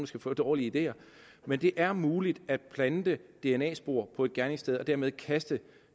skal få dårlige ideer men det er muligt at plante dna spor på et gerningssted og dermed kaste